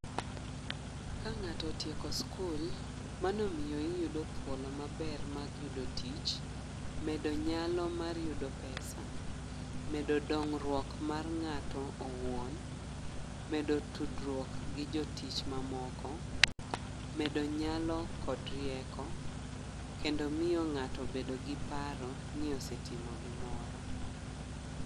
Ka ng'ato otieko skul, mano omiyo iyudo thuolo maber mag yudo tich, medo nyalo mar yudo pesa. Medo dongruok mar ng'ato owuon. Medo tudruok gi jotich mamoko. Medo nyalo kod rieko kendo miyo ng'ato bedo gi paro ni osetimo gimoro.